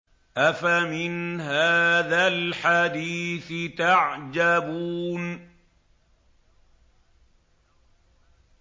أَفَمِنْ هَٰذَا الْحَدِيثِ تَعْجَبُونَ